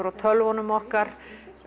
á tölvunum okkar